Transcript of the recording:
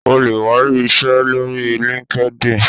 o le wa iṣẹ lori linkedin